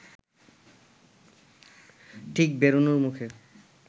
ঠিক বেরোনোর মুখে